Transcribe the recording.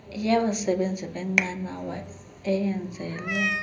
yabasebenzi benqanawa eyenzelwe